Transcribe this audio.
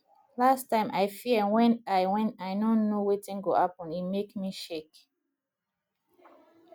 last time i fear wen i wen i no know wetin go happen e make me shake